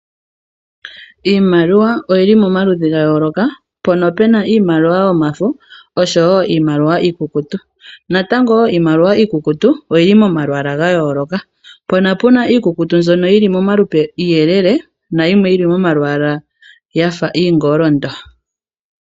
Iimaliwa oyili momaludhi ga yooloka mpono pena iimaliwa yomafo oshowo iimaliwa iikukutu. Iimaliwa iikukutu oyili momalwaala ga yooloka, mpono pena iimaliwa iikukutu yafa iiyelele nayimwe yili momalwaala yafa iingolondo